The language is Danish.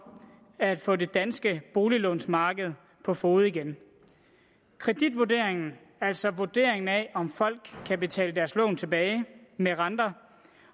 at få det danske boliglånsmarked på fode igen kreditvurderingen altså vurderingen af om folk kan betale deres lån tilbage med renter